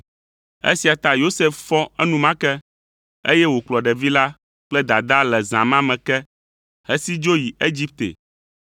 Esia ta Yosef fɔ enumake, eye wòkplɔ ɖevi la kple dadaa le zã ma me ke hesi dzo yi Egipte,